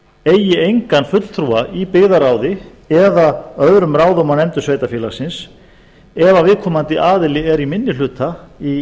eigi engan fulltrúa í byggðarráð eða öðrum ráðum og nefndum sveitarfélagsins ef viðkomandi aðili er í minni hluta í